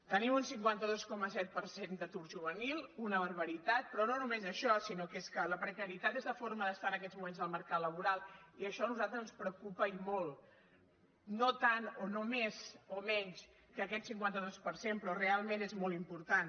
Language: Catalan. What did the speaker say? tenim un cinquanta dos coma set per cent d’atur juvenil una barbaritat però no només això sinó que és que la precarietat és la forma d’estar en aquests moments al mercat laboral i això a nosaltres ens preocupa i molt no tant o no més o menys que aquest cinquanta dos per cent però realment és molt important